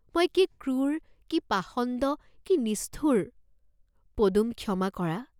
মই কি ক্ৰূৰ, কি পাষণ্ড কি নিষ্ঠুৰ, পদুম ক্ষমা কৰা।